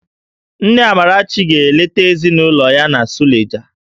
Nne Amarachi ga-eleta ezinụlọ ya na Suleja